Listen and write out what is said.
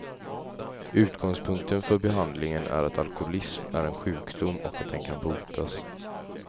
Utgångspunkten för behandlingen är att alkoholism är en sjukdom och att den kan botas.